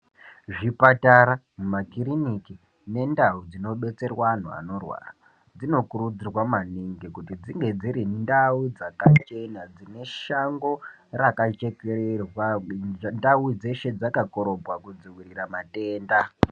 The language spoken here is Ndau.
Zvipatara makiriniki nendau dzinodetserwa antu anorwara dzinokurudzurwa maningi kuti dzinge dziri ndau dzakachena dzine Shango rakachekererwa ndau dzeshe dzakaringwa kudzivirira matenda.